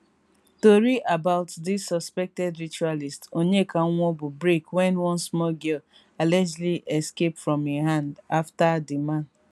tori about dis suspected ritualist onyeka nwaobu break wen one small girl allegedly escape from im hand afta di man